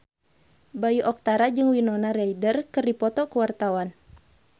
Bayu Octara jeung Winona Ryder keur dipoto ku wartawan